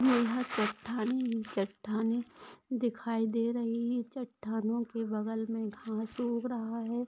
यहा चट्टान ही चट्टानें दिखाई दे रही ही चट्टानो का बगल मे घास उग रहा है।